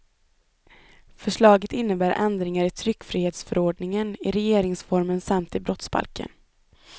Förslaget innebär ändringar i tryckfrihetsförordningen, i regeringsformen samt i brottsbalken.